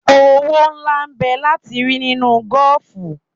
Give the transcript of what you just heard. Owó ńlá n bẹ láti rí nínú gọ́ọ̀fù.